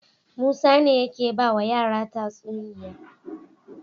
Musa ne yake bawa yara tatsuniya